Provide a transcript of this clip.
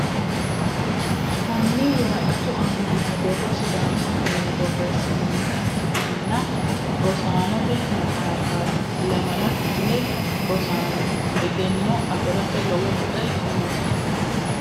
Konni woraqattu aanna noo borro sidaamu affinni borreessinoonnitta ikkitanna rosaannotte maxxaffatti. lamala kifile rosaanoho , egenno afiratte lowo bue noosiho